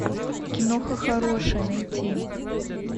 киноха хорошая найти